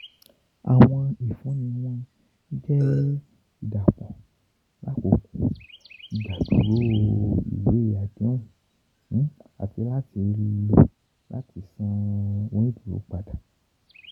Awọn ifunni wọn jẹ idapọ lakoko igbaduro iwe adehun ati lo lati san oniduro pada.